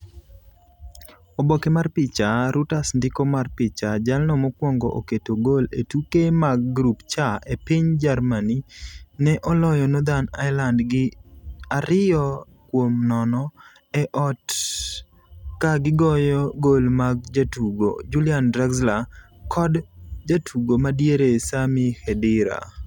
Oboke mar picha: Reuters Ndiko mar picha: Jalno mokuongo oketo gol e tuke mag grup C e piny Germany ne oloyo Northern Ireland gi 2-0 e ot ka gigoyo gol mag jatugo Julian Draxler kod jatugo ma diere Sami Khedira .